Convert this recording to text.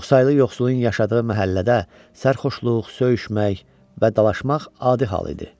Çoxsaylı yoxsulun yaşadığı məhəllədə sərxoşluq, söyüşmək və dalaşmaq adi hal idi.